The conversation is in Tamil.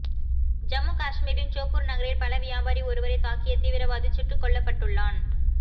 ஜம்மு காஷ்மீரின் சோப்பூர் நகரில் பழவியாபாரி ஒருவரை தாக்கிய தீவிரவாதி சுட்டுக்கொலப்பட்டுள்ளான்